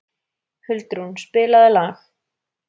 Huldrún, spilaðu lag.